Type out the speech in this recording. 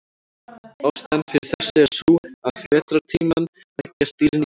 Ástæðan fyrir þessu er sú að yfir vetrartímann leggjast dýrin í dvala.